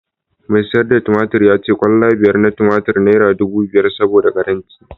mai sayar da tumatur ya ce kwalla biyar na tumatur naira dubu biyar saboda karancin